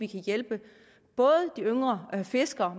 kan hjælpe både de yngre fiskere og